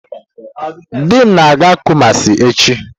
Di m na-aga Kumasi echi.